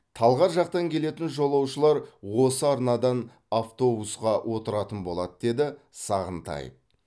талғар жақтан келетін жолаушылар осы арнадан автобусқа отыратын болады деді сағынтаев